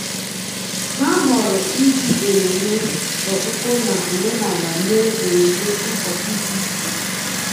Ha ghọrọ iji emume okpukpe na omenala mee emume ụbọchị dị iche iche